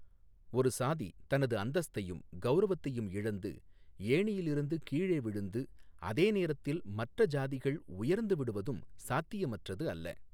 ஒரு சாதி தனது அந்தஸ்தையும், கவுரவத்தையும் இழந்து ஏணியில் இருந்து கீழே விழுந்து அதே நேரத்தில் மற்ற ஜாதிகள் உயர்ந்து விடுவதும் சாத்தியமற்றது அல்ல.